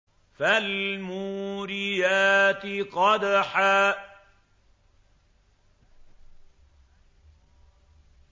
فَالْمُورِيَاتِ قَدْحًا